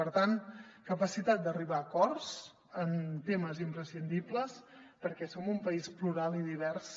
per tant capacitat d’arribar a acords en temes imprescindibles perquè som un país plural i divers